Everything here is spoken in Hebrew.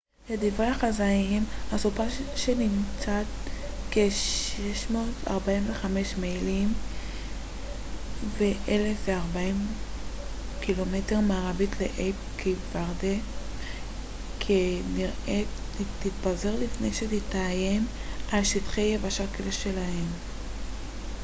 "לדברי החזאים הסופה שנמצאת כ-645 מיילים 1040 ק""מ מערבית לאיי קייפ ורדה כנראה תתפזר לפני שתאיים על שטחי יבשה כלשהם.